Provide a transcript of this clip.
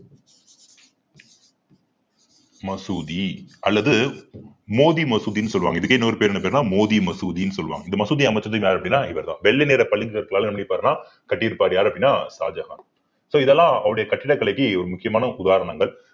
மசூதி அல்லது மோதி மசூதின்னு சொல்லுவாங்க இதுக்கே இன்னொரு பேர் என்ன பேருன்னா மோதி மசூதின்னு சொல்லுவாங்க இந்த மசூதி அமைச்சது யாரு அப்படின்னா இவர்தான் வெள்ளை நிற பளிங்கு கற்களால என்ன பண்ணிருப்பாருன்னா கட்டி இருப்பாரு யாரு அப்படின்னா ஷாஜகான் so இதெல்லாம் அவருடைய கட்டிடக்கலைக்கு ஒரு முக்கியமான உதாரணங்கள்